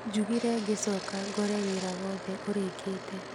Njugire ngĩcoka ngore wĩra wothĩ ũrĩkĩte